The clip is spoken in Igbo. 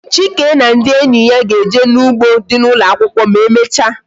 Chike na ndị enyi ya ga-eje n'u3gbo dị n' ụlọakwụkwọ ma e mechaa